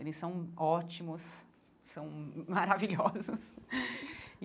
Eles são ótimos, são maravilhosos.